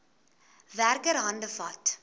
werker hande vat